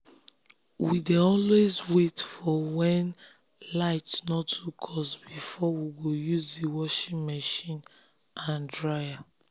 we dey always wait for when um light no too cost before we go use the washing machine and dryer.